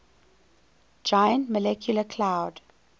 giant molecular cloud